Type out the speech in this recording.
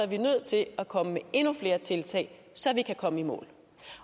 vi nødt til at komme med endnu flere tiltag så vi kan komme i mål